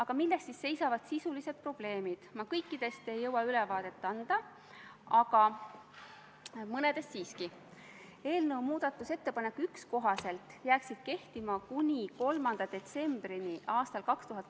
Komisjon neid küsimusi ei arutanud, aga nagu eile rõhutas Kaitseväe juhataja, Eesti kaitseväelased, kes Mali operatsioonis osalevad, on kontaktis valitsusvägedega ja tegelevad terrorismivastase võitlusega.